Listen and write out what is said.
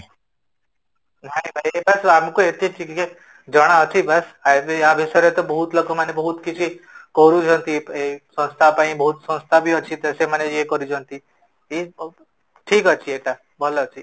ନାହିଁ ନାହିଁ ଏଟା ତ ଆମକୁ ଏତିକି ଜଣ ଅଛି ବାସ, ଏବେ ୟା ବିଶ୍ୱରେ ବହୁତ ଲୋକ ବହୁତ କିଛି କରୁଛନ୍ତି ଏଇ ସଂସ୍ତା ପାଇଁ ବହୁତ ସଂସ୍ତା ବି ଅଛି ସେମାନେ ୟେ କରଛନ୍ତି ଏଇ topic ଠିକ ଅଛି ଏଟା ଭଲ ଅଛି